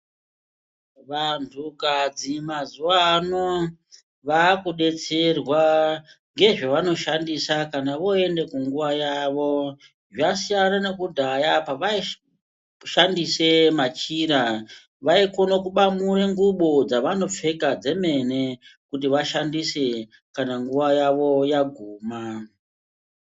Vantukadzi mazuvaano vakudetserwa ngezvavanoshandisa kana voenda kunguva yavo zvasiyana nekudhaya pavaishandise machira vaikone kubamure ngubo dzavanopfeka dzemene kuti vashandise kana nguva yavo yaguma.